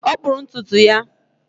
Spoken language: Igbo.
Ọ kpụrụ ntutu ya